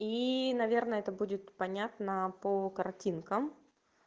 и наверное это будет понятно по картинкам